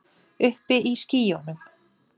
Uppi í skýjunum.